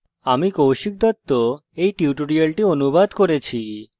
আমি কৌশিক দত্ত এই টিউটোরিয়ালটি অনুবাদ করেছি